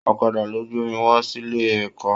Ọ̀kàdà lọ gbe mi wa síle ẹkọ.